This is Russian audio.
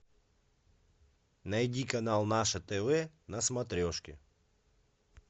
найди канал наше тв на смотрешке